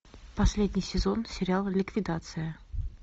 последний сезон сериала ликвидация